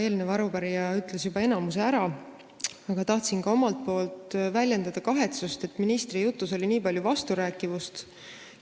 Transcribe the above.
Eelkõneleja ütles juba enamuse ära, aga ma tahtsin ka omalt poolt väljendada kahetsust, et ministri jutus oli nii palju vasturääkivusi.